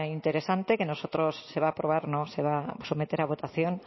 interesante que nosotros se va a aprobar se va a someter a votación